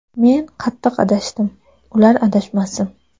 Men qattiq adashdim, ular adashmasin.